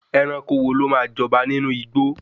Ẹranko wo lò ma jọba nínú igbó